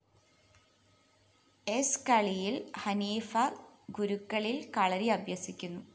സ്‌ കളിയില്‍ ഹനീഫ് ഗുരുക്കളില്‍ കളരി അഭ്യസിക്കുന്നു